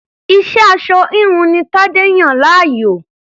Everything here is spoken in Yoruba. Iṣẹ́ aṣọ-híhun ni Tadé yàn láàyò.